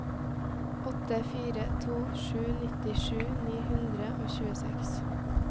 åtte fire to sju nittisju ni hundre og tjueseks